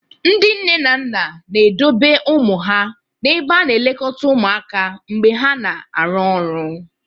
Ndị nne na nna na-edobe ụmụ ha n'ebe a na-elekọta ụmụaka mgbe ha na-arụ ọrụ.